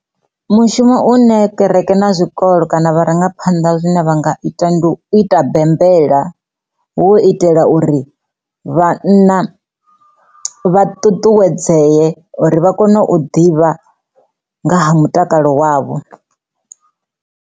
Mushumo u ne ṱiraka na zwikolo kana vharangaphanḓa zwine vha nga ita ndi u ita bembelwa wo itela uri vhanna vha ṱuṱuwedzee uri vha kone u ḓivha nga ha mutakalo wavho.